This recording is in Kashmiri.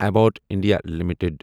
Abbott India limited